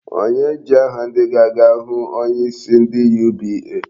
Onye ji aha ndị ga-aga ahụ onyeisi ndị UBA?